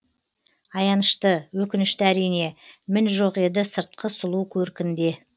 аянышты өкінішті әрине мін жоқ еді сыртқы сұлу көркінде